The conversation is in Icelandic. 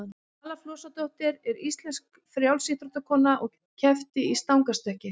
vala flosadóttir er íslensk frjálsíþróttakona og keppti í stangarstökki